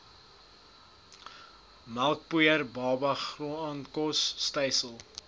melkpoeier babagraankos stysel